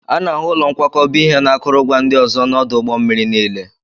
A na-ahụ ụlọ nkwakọba ihe na akụrụngwa ndị ọzọ n'ọdụ ụgbọ mmiri niile